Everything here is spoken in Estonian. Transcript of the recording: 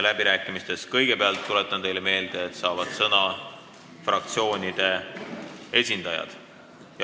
Läbirääkimistes saavad kõigepealt, tuletan teile meelde, sõna fraktsioonide esindajad.